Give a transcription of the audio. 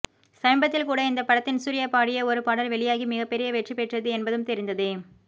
சமீபத்தில் கூட இந்த படத்தின் சூர்யா பாடிய ஒரு பாடல் வெளியாகி மிகப்பெரிய வெற்றி பெற்றது என்பதும் தெரிந்ததே